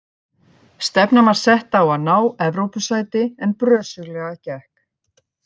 Stefnan var sett á að ná Evrópusæti en brösuglega gekk.